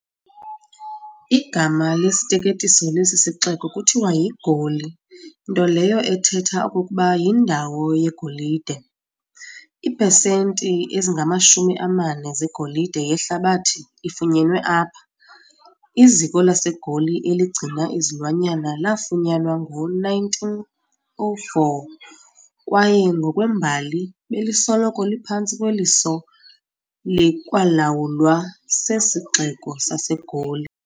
Igama lesiteketiso lesi sixeko kuthiwa yi-Goli, nto leyo ethetha okokuba "yindawo yegolide". iiphecenti ezingamashumi amane zegolide yehlabathi ifunyenwe apha. Iziko lasegoli eligcina izilwanyana laafunyanwa ngo-1904, kwaye ngokwembali, belisoloko liphantsi kweliso likwalawulwa sesixeko saseGoli.